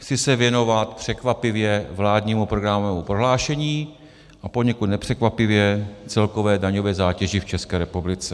Chci se věnovat, překvapivě, vládnímu programovému prohlášení a poněkud nepřekvapivě celkové daňové zátěži v České republice.